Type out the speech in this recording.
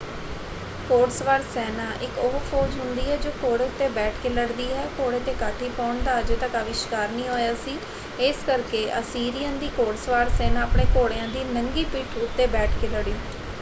ਘੋੜਸਵਾਰ ਸੈਨਾ ਇੱਕ ਉਹ ਫੌਜ਼ ਹੁੰਦੀ ਹੈ ਜੋ ਘੋੜੇ ਉੱਤੇ ਬੈਠ ਕੇ ਲੜਦੀ ਹੈ। ਘੋੜੇ 'ਤੇ ਕਾਠੀ ਪਾਉਣ ਦਾ ਅਜੇ ਤੱਕ ਆਵਿਸ਼ਕਾਰ ਨਹੀਂ ਹੋਇਆ ਸੀ ਇਸ ਕਰਕੇ ਅਸੀਰੀਅਨ ਦੀ ਘੋੜਸਵਾਰ ਸੈਨਾ ਆਪਣੇ ਘੋੜਿਆਂ ਦੀ ਨੰਗੀ ਪਿੱਠ ਉੱਤੇ ਬੈਠ ਕੇ ਲੜੀ।